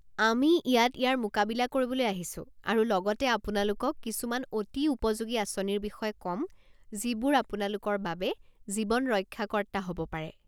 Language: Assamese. আমি ইয়াত ইয়াৰ মোকাবিলা কৰিবলৈ আহিছোঁ আৰু লগতে আপোনালোকক কিছুমান অতি উপযোগী আঁচনিৰ বিষয়ে ক'ম যিবোৰ আপোনালোকৰ বাবে জীৱন ৰক্ষাকৰ্তা হ'ব পাৰে।